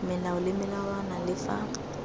melao le melawana le fa